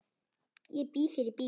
Ég býð þér í bíó.